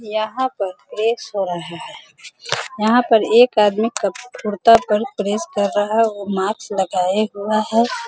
यहाँ पर प्रेस हो रहा है | यहाँ पर एक आदमी कप कुरता पर प्रेस कर रहा है और मास्क लगाए हुआ है।